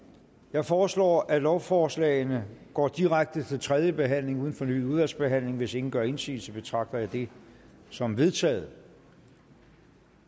jeg foreslår at lovforslagene går direkte til tredje behandling uden fornyet udvalgsbehandling hvis ingen gør indsigelse betragter jeg det som vedtaget